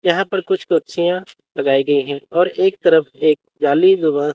यहां पर कुछ पक्षियां लगाई गई है और एक तरफ एक जाली नुमा--